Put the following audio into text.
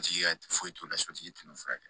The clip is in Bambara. Sotigi ka foyi t'o la sotigi tɛna furakɛ